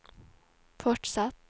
fortsett